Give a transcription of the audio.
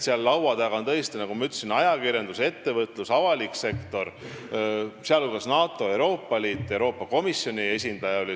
Seal olid tõesti laua taga, nagu ma ütlesin, ajakirjandus, ettevõtlus ja avalik sektor, sh NATO, Euroopa Liidu ja Euroopa Komisjoni esindajad.